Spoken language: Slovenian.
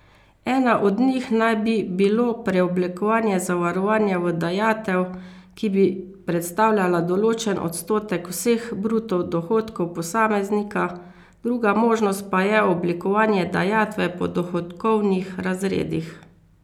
Ena od njih naj bi bilo preoblikovanje zavarovanja v dajatev, ki bi predstavljala določen odstotek vseh bruto dohodkov posameznika, druga možnost pa je oblikovanje dajatve po dohodkovnih razredih.